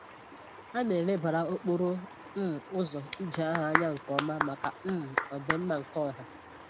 A na-elebara okporo um ụzọ ije ahụ anya nke ọma maka um ọdị mma nke ọha